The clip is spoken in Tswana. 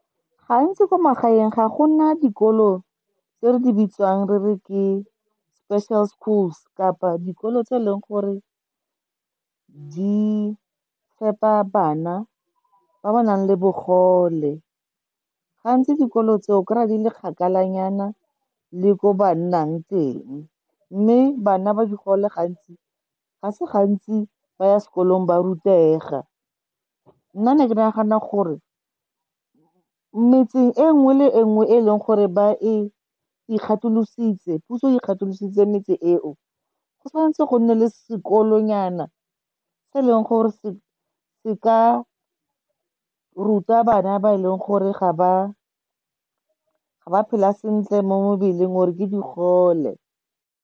Gantsi ko magaeng ga go na dikolo tse re di bitsang re re ke special schools kapa dikolo tse e leng gore di fepa bana ba ba nang le bogole. Gantsi dikolo tse o kry-a di le kgakalanyana le ko ba nnang teng, mme bana ba digole ga se gantsi ba ya sekolong ba rutega. Nna ne ke nagana gore metse e nngwe le e nngwe e e leng gore puso e ikgatholositse metse e o, go tshwanetse go nne le sekolonyana se leng gore se ka ruta bana ba e leng gore ga ba phela sentle mo mmeleng, or-e ke digole.